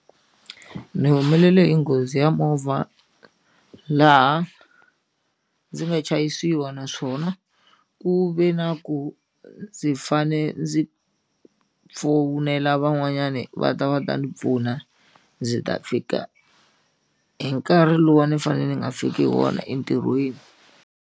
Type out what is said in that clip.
Ni humelele hi nghozi ya movha laha ndzi nga chayisiwa naswona ku ve na ku ndzi fane ndzi van'wanyani va ta va ta ndzi pfuna ndzi ta fika hi nkarhi lowu a ni fanele ni nga fiki hi wona entirhweni.